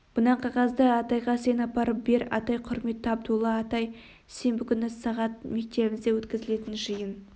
мына қағазды атайға сен апарып бер атай құрметті абдолла атай сенбі күні сағат мектебімізде өткізілетін жиын